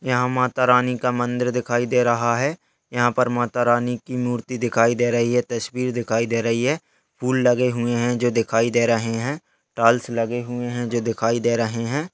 यह माता रानी का मंदिर दिखाई दे रहा है यहाँ पर माता रानी कि मूर्ति दिखाई दे रही है तस्वीर दिखाई दे रही है फूल लगे हुए हैं जो दिखाई दे रहे हैं टाइल्स लगे हुए हैं जो दिखाई दे रहे हैं ।